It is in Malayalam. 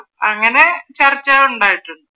അങ്ങനെ ചർച്ചകൾ ഉണ്ടായിട്ടുണ്ട്.